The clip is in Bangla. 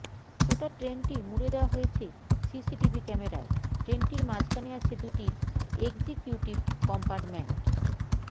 গোটা ট্রেনটি মুড়ে দেওয়া হয়েছে সিসিটিভি ক্যামেরায় ট্রেনটির মাঝখানে আছে দুটি একজিকিউটিভ কম্পার্টমেন্ট